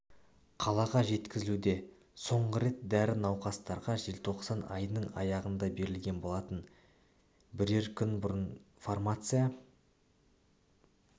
қалаға жеткізілуде соңғы рет дәрі науқастарға желтоқсан айының аяғында берілген болатын бірер күн бұрын фармация